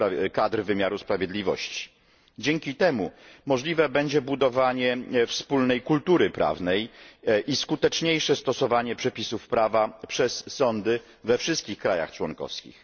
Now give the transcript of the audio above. kadr wymiaru sprawiedliwości. Dzięki temu możliwe będzie budowanie wspólnej kultury prawnej i skuteczniejsze stosowanie przepisów prawa przez sądy we wszystkich krajach członkowskich.